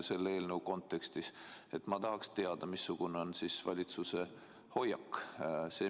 Selle eelnõu kontekstis ma tahaksingi teada, missugune on valitsuse hoiak.